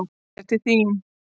Bréf til þín.